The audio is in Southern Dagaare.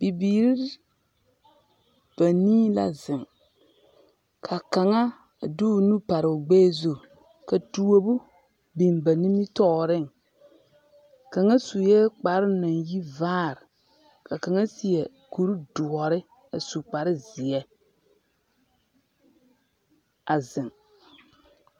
Bibiiri banii la zeŋ, ka kaŋa de o nu pare o gbɛɛ zu, ka tuobu biŋ ba nimitɔɔreŋ, kaŋa sue kparoo naŋ yi vaare, ka kaŋa seɛ kuri doɔre a su kparezeɛ a zeŋ. 13393